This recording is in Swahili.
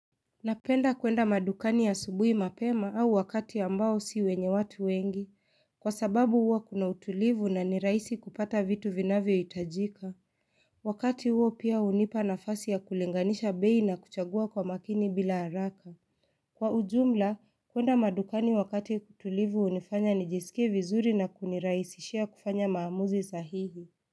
Napenda kwenda madukani asubuhi mapema au wakati ambao si wenye watu wengi, kwa sababu huwa kuna utulivu na nirahisi kupata vitu vinavyohitajika. Wakati huo pia hunipa nafasi ya kulenganisha bei na kuchagua kwa makini bila haraka. Kwa ujumla, kwenda madukani wakati tulivu hunifanya nijisikie vizuri na kunirahisishia kufanya maamuzi sahihi.